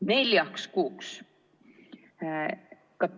Neljaks kuuks!